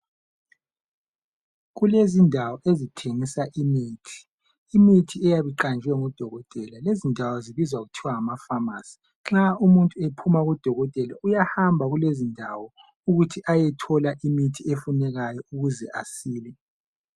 Kulezindawo ezithengisa imithi, imithi eyabi qanjwe ngudokotela. Lezindawo zibizwa kuthiwa ngamafamasi ,nxa umuntu ephuma kudokothela. Uyahamba kulezindawo ukuthi ayethola imithi efunekayo ukuze asile.